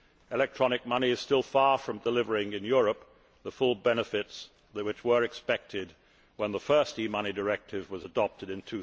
Electronic money is still far from delivering, in Europe, the full benefits which were expected when the first e money directive was adopted in